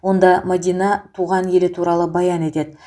онда мадина туған елі туралы баян етеді